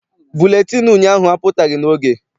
Buletịịnụ ụnyaahụ apụtaghị n'oge.